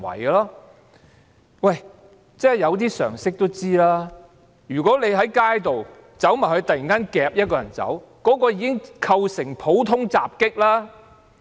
稍具常識的人也會知道，如果你在街上突然擄走一個人，便已構成普通襲擊罪。